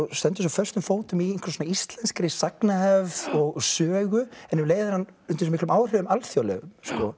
stendur svo föstum fótum í einhverri íslenskri sagnahefð og sögu en um leið er hann undir svo miklum áhrifum alþjóðlegum